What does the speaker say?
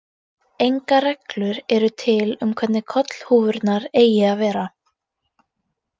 Engar reglur eru til um hvernig kollhúfurnar eigi að vera.